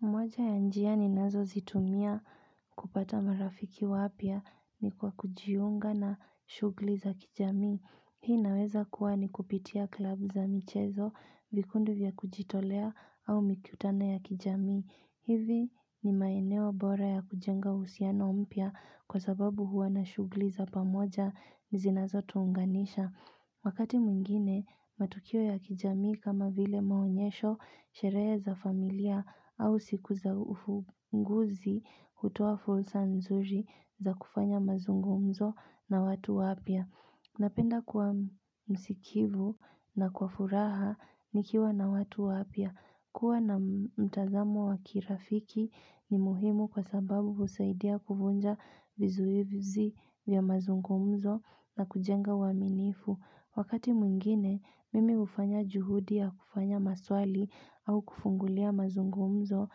Moja ya njia ni nazo zitumia kupata marafiki wapya ni kwa kujiunga na shughuli za kijamii. Hii naweza kuwa ni kupitia klub za michezo, vikundu vya kujitolea au mikutana ya kijami. Hivi ni maeneo bora ya kujenga usiana mpya kwa sababu huwa na shugli za pamoja nizinazo tuunganisha. Wakati mwingine matukio ya kijamii kama vile maonyesho sherehe za familia au sikuza ufunguzi hutua fursa nzuri za kufanya mazungumzo na watu wapia. Napenda kwa msikivu na kwa furaha nikiwa na watu wapia. Kua na mtazamu wakirafiki ni muhimu kwa sababu usaidia kufunja vizuivizi vya mazungumzo na kujenga waminifu. Wakati mwingine, mimi ufanya juhudi ya kufanya maswali au kufungulia mazungumzo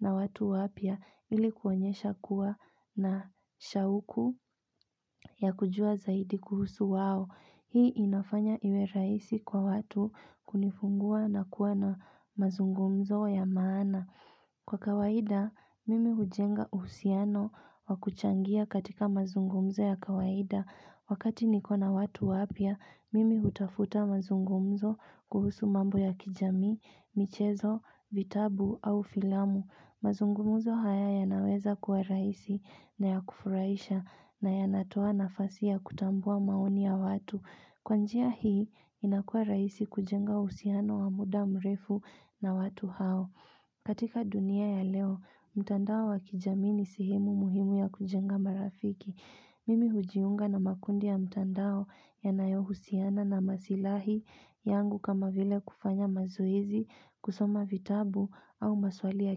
na watu wapia ilikuanyesha kuwa na shauku ya kujua zaidi kuhusu wao. Hii inafanya iwe rahisi kwa watu kunifungua na kuwa na mazungumzo ya maana. Kwa kawaida, mimi hujenga usiano wa kuchangia katika mazungumzo ya kawaida. Wakati nikona watu wapia, mimi hutafuta mazungumzo kuhusu mambo ya kijamii, michezo, vitabu au filamu. Mazungumuzo haya ya naweza kuwa raisi na ya kufuraisha na ya natoa nafasi ya kutambua maoni ya watu. Kwa njia hii inakua raisi kujenga usiano wa muda mrefu na watu hao. Katika dunia ya leo, mtandao wakijamini sehemu muhimu ya kujenga marafiki. Mimi hujiunga na makundi ya mtandao yanayo husiana na masilahi yangu kama vile kufanya mazoezi, kusoma vitabu au maswali ya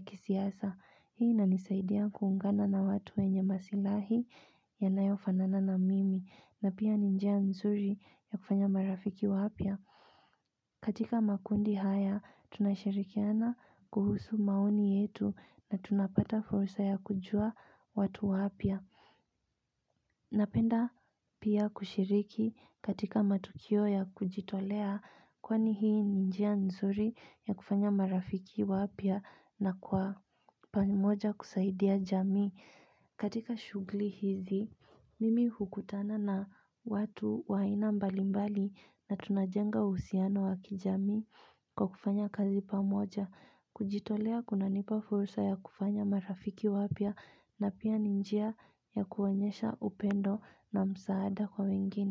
kisiasa. Hii na nisaidia kuungana na watu wenye masilahi ya nayofanana na mimi na pia ninjia mzuri ya kufanya marafiki wapia. Katika makundi haya, tunashirikiana kuhusu mauni yetu na tunapata fursa ya kujua watu wapia. Napenda pia kushiriki katika matukio ya kujitolea kwani hii ninjia nzuri ya kufanya marafiki wapia na kwa pamoja kusaidia jami. Katika shugli hizi, mimi hukutana na watu waina mbali mbali na tunajenga husiano wa kijamii kwa kufanya kazi pamoja. Kujitolea kuna nipa fursa ya kufanya marafiki wapya na pia ninjia ya kuwanyesha upendo na msaada kwa mengine.